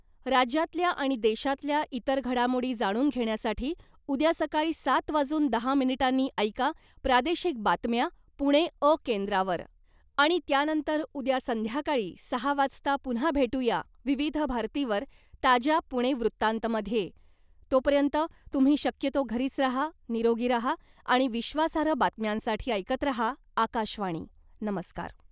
राज्यातल्या आणि देशातल्या इतर घडामोडी जाणून घेण्यासाठी उद्या सकाळी सात वाजून दहा मिनिटांनी ऐका " प्रादेशिक बातम्या " पुणे 'अ' केंद्रावर आणि त्यानंतर उद्या संध्याकाळी सहा वाजता पुन्हा भेटूया , विविध भारतीवर , ताज्या ' पुणे वृत्तांत ' मध्ये. तोपर्यंत तुम्ही शक्यतो घरीच रहा , निरोगी रहा आणि विश्वासार्ह बातम्यांसाठी ऐकत रहा , आकाशवाणी , नमस्कार .